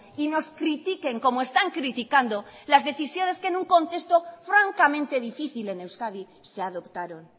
y nos critiquen como están criticando las decisiones que en un contesto francamente difícil en euskadi se adoptaron